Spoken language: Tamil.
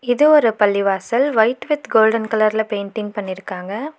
இது ஒரு பள்ளிவாசல் ஒயிட் வித் கோல்டன் கலர்ல பெயின்டிங் பண்ணிருக்காங்க.